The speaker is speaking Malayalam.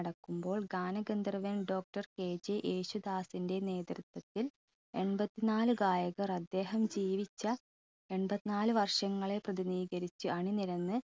നടക്കുമ്പോൾ ഗാനഗന്ധർവൻ doctorKG യേശുദാസിൻറെ നേതൃത്വത്തിൽ എൺപത്തിനാല് ഗായകർ അദ്ദേഹം ജീവിച്ച എമ്പത്ത്നാല് വർഷങ്ങളെ പ്രതിനിധീകരിച്ച് അണിനിരന്ന്